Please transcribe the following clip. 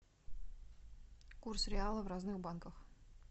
курс реала в разных банках